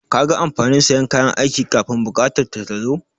Kaga amfanin sayan kayan aiki kafun buƙatar ta ta tazo?